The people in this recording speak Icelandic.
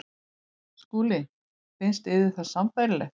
SKÚLI: Finnst yður það sambærilegt?